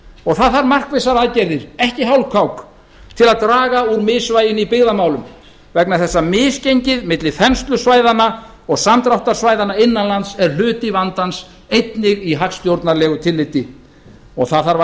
og það þarf markvissar aðgerðir ekki hálfkák til að draga úr misvæginu í byggðamálum vegna þess að misgengið milli þenslusvæðanna og samdráttarsvæðanna innanlands er hluti vandans einnig í hagstjórnarlegu tilliti og það þarf að